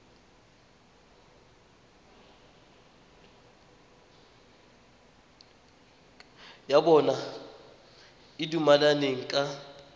ya bona e dumelaneng ka